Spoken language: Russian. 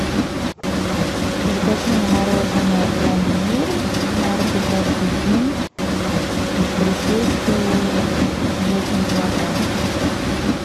закажи мне мороженное пломбир марки каждый день в брикете весом килограмм